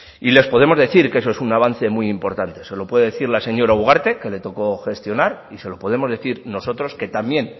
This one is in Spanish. y les podemos decir que eso es un avance muy importante se lo puede decir la señora ugarte que le tocó gestionar y se lo podemos decir nosotros que también